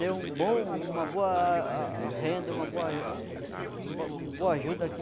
Deu um bom uma boa a renda, uma uma boa ajuda aqui.